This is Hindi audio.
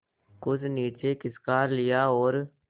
कुछ नीचे खिसका लिया और